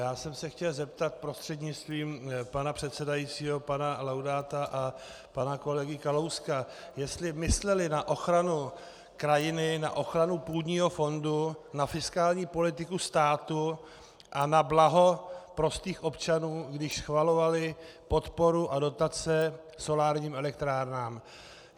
Já jsem se chtěl zeptat prostřednictvím pana předsedajícího pana Laudáta a pana kolegy Kalouska, jestli mysleli na ochranu krajiny, na ochranu půdního fondu, na fiskální politiku státu a na blaho prostých občanů, když schvalovali podporu a dotace solárním elektrárnám.